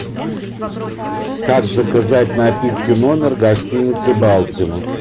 как заказать напитки в номер гостиница балтимор